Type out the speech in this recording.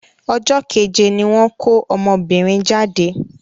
Ọjọ́ kéje ní wọ́n ko ọmọbìnrin jáde.